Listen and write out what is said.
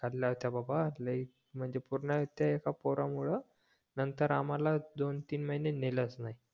होत्या बाबा लय म्हणजे पूर्ण त्या एका पोरामुळे नंतर आम्हाला दोन-तीन महिने नेलच नाही